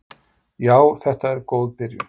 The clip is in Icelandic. Já þetta er góð byrjun.